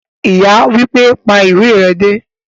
Ìyá wípé,"pa ìwé re dé"